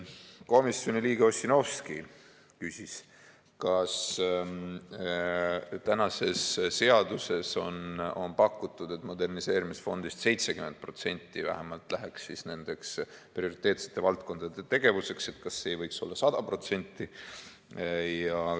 Komisjoni liige Ossinovski ütles, et tänases seaduses on pakutud, et moderniseerimisfondist vähemalt 70% läheks nende prioriteetsete valdkondade tegevuseks, ja küsis, kas see ei võiks olla 100%.